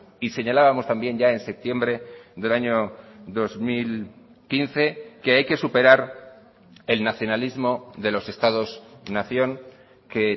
y señalábamos también ya en septiembre del año dos mil quince que hay que superar el nacionalismo de los estados nación que